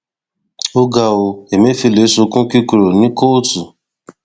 ó ga ọ ẹlẹfẹlẹ sunkún kíkorò ní kóòtù